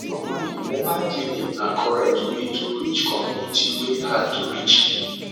normally mobile clinic na correct way to reach community wey hard to reach